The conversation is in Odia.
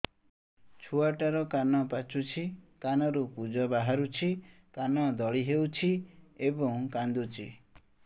ଛୁଆ ଟା ର କାନ ପାଚୁଛି କାନରୁ ପୂଜ ବାହାରୁଛି କାନ ଦଳି ହେଉଛି ଏବଂ କାନ୍ଦୁଚି